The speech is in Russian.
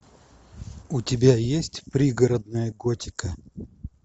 у тебя есть пригородная готика